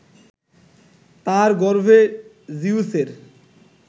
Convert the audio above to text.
তার গর্ভে জিউসের